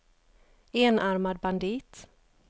enarmad bandit